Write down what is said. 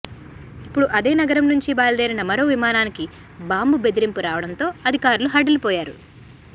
ఇప్పుడు అదే నగరం నుంచి బయలుదేరిన మరో విమానానికి బాంబు బెదిరింపు రావడంతో అధికారులు హడలిపోయారు